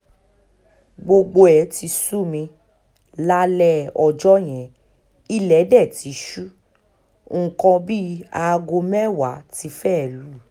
gbogbo ẹ̀ ti sú mi lálẹ́ ọjọ́ yẹn ilé dé ti ṣú nǹkan bíi aago mẹ́wàá tí fẹ́ẹ́ lù